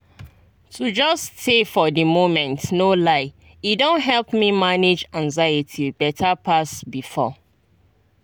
to just stay for the moment no lie e don help me manage anxiety better pass before.